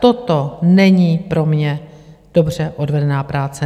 Toto není pro mě dobře odvedená práce.